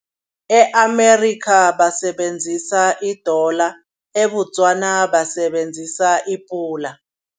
E-America basebenzisa iDola eBotswana basebenzisa iPula.